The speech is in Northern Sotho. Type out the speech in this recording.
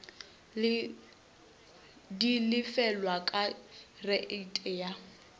di lefelwa ka reiti ya